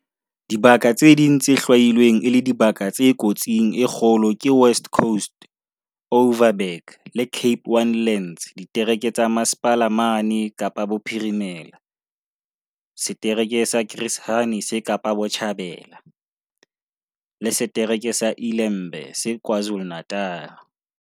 Dibaka tse ding tse hlwailweng e le dibaka tse kotsing e kgolo ke West Coast, Overberg le Cape Winelands ditereke tsa Mmasepala mane Kapa Bophirimela, setereke sa Chris Hani se Kapa Botjhabela, le se-tereke sa iLembe se KwaZulu-Natala.